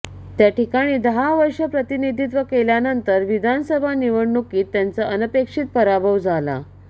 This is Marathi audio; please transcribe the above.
त्या ठिकाणी दहा वर्षे प्रतिनिधित्व केल्यानंतर विधानसभा निवडणुकीत त्यांचा अनपेक्षित पराभव झाला